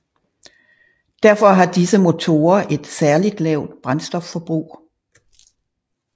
Derfor har disse motorer et særligt lavt brændstofforbrug